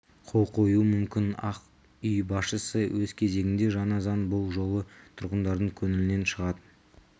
қол қоюы мүмкін ақ үй басшысы өз кезегінде жаңа заң бұл жолы тұрғындардың көңілінен шығатын